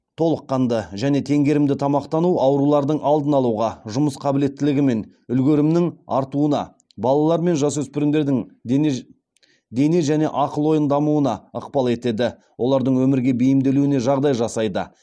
толыққанды және теңгерімді тамақтану аурулардың алдын алуға жұмыс қабілеттілігі мен үлгерімінің артуына балалар мен жасөспірімдердің дене және ақыл ойын дамуына ықпал етеді олардың өмірге бейімделуіне жағдай жасайды